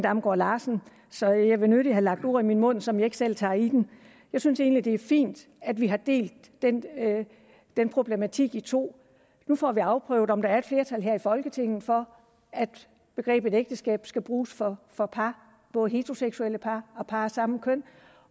damgaard larsen så jeg vil nødig have lagt ord i min mund som jeg ikke selv tager i den jeg synes egentlig det er fint at vi har delt den problematik i to nu får vi afprøvet om der er et flertal her i folketinget for at begrebet ægteskab skal bruges for for par både heteroseksuelle par og par af samme køn